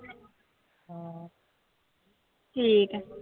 ਠੀਕ ਹੈ।